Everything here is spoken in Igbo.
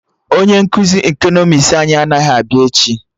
Onye nkụzi ekọnọmis anyị anaghị abịa echi